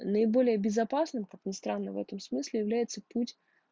наиболее безопасным как не странно в этом смысле является путь